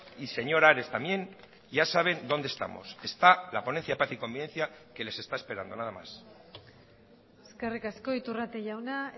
y señor ares también ya saben donde estamos está la ponencia paz y convivencia que les está esperando nada más eskerrik asko iturrate jauna